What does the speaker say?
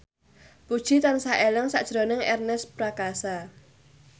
Puji tansah eling sakjroning Ernest Prakasa